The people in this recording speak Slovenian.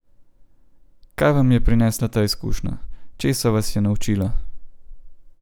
Kaj vam je prinesla ta izkušnja, česa vas je naučila?